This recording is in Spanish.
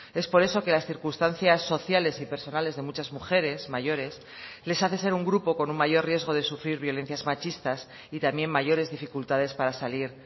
es por eso que las circunstancias sociales y personales de muchas mujeres mayores les hace ser un grupo con un mayor riesgo de sufrir violencias machistas y también mayores dificultades para salir